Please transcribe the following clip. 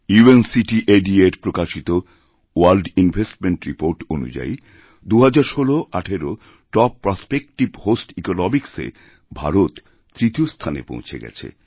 UNCTAD এর প্রকাশিতওয়ার্ল্ড investment report অনুযায়ী ২০১৬১৮ টপ প্রসপেক্টিভ হোস্ট ইকনমিসএভারত তৃতীয় স্থানে পৌঁছে গেছে